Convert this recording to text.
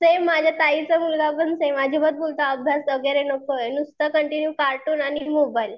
Same माझ्या ताईचा मुलगा पण सेम अजिबात बोलतो अभ्यास वगैरे नकोय, नुसता कन्टीन्यू कार्टून आणि मोबाईल.